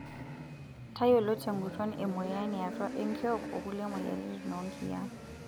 Tayiolo tenguton emoyian yaatua enkiok ukulie moyiaritin oo nkiyiaa.